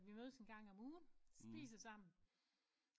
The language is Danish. At vi mødes en gang om ugen spiser sammen